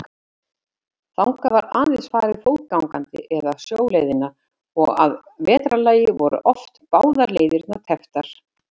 Þangað var aðeins farið fótgangandi eða sjóleiðina og að vetrarlagi voru oft báðar leiðirnar tepptar.